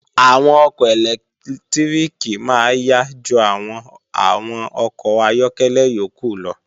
Àwọn ọkọ̀ ẹlẹ́lẹtíríkì máa yá ju àwọn àwọn ọkọ̀ ayọ́kẹ́lẹ́ yókù lọ